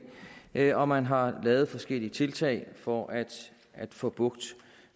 af og man har lavet forskellige tiltag for at at få bugt